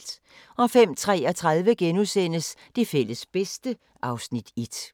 05:33: Det fælles bedste (Afs. 1)*